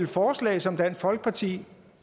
forslag som dansk folkeparti